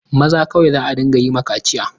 Maza kawai za a ɗinga yi ma kaciya.